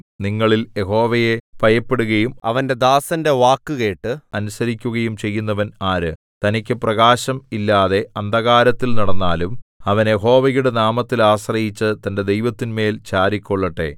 നിങ്ങളിൽ യഹോവയെ ഭയപ്പെടുകയും അവന്റെ ദാസന്റെ വാക്കുകേട്ട് അനുസരിക്കുകയും ചെയ്യുന്നവൻ ആര് തനിക്കു പ്രകാശം ഇല്ലാതെ അന്ധകാരത്തിൽ നടന്നാലും അവൻ യഹോവയുടെ നാമത്തിൽ ആശ്രയിച്ച് തന്റെ ദൈവത്തിന്മേൽ ചാരിക്കൊള്ളട്ടെ